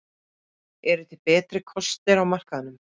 Eru til betri kostir á markaðnum?